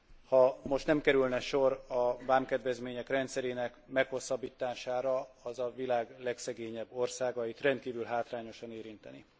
Ha most nem kerülne sor a vámkedvezmények rendszerének meghosszabbítására, az a világ legszegényebb országait rendkívül hátrányosan érintené.